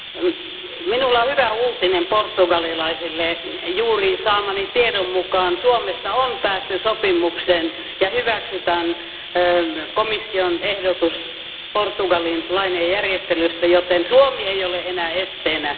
Arvoisa puhemies, minulla on hyvä uutinen portugalilaisille. Juuri saamani tiedon mukaan Suomessa on päästy sopimukseen ja hyväksytty komission ehdotus Portugalin lainojen järjestelystä, joten Suomi ei ole enää esteenä.